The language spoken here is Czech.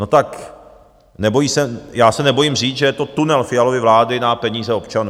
No tak já se nebojím říct, že je to tunel Fialovy vlády na peníze občanů.